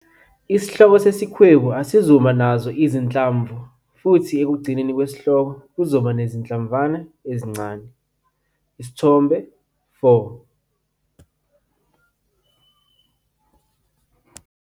Isihloko sesikhwebu asizuba nazo izinhlamvu futhi ekugcineni kwesihloko kuzoba nezinhlamvana ezincane, Isithombe 4.